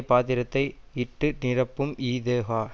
பாத்திரத்தை இட்டு நிரப்பும் இதொகா